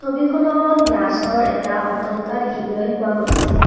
ফটোখনত গ্লাছৰ এটা অট্টালিকা দেখিবলৈ পোৱা গৈছে।